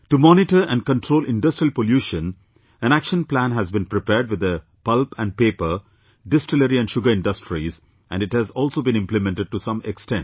To monitor and control industrial pollution, an action plan has been prepared with the pulp and paper, distillery and sugar industries, and it has also been implemented to some extent